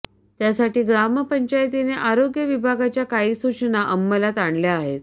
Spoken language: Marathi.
त्यासाठी ग्रामपंचायतीने आरोग्य विभागाच्या काही सूचना अंमलात आणल्या आहेत